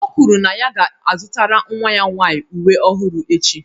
O kwuru na ya ga-azụtara nwa ya nwaanyị uwe ọhụrụ echi.